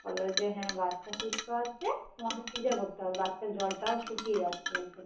বললো যে হ্যাঁ বাচ্চা সুস্থ আছে তোমাকে scissor করতে হবে বাচ্চার জল টাও শুকিয়ে যাচ্ছে